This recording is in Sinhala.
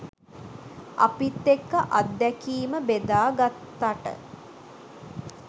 අපිත් එක්ක අත්දැකීම බෙදාගත්තාට